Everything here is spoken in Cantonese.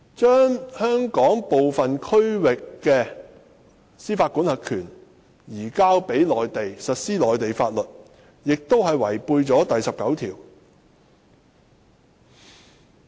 將香港部分區域的司法管轄權移交予內地，並實施內地法律，同樣違反《基本法》第十九條的規定。